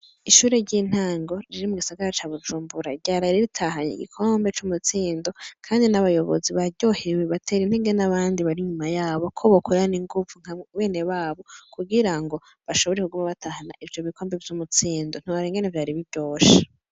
Ishure ry'intango riri mu gisagara ca Bujumbura ryaraye ritahanye igikombe c'umutsindo kandi n'abayobozi baryohewe batera intege n'abandi bari inyuma yabo ko bokorana inguvu nka benewabo kugira ngo bashobore kuguma batahana ivyo bikombe vy'umutsindo. Ntiworaba ingene vyari biryoshe.